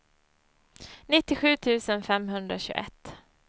nittiosju tusen femhundratjugoett